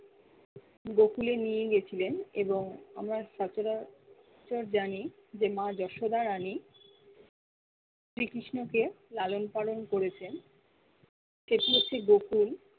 গোকুলে নিয়ে গেছিলেন এবং আমরা সচারা~চর জানি যে মা যশোদা রানি শ্রী কৃষ্ণকে লালন পালন করেছেন সে গুছি গোকুল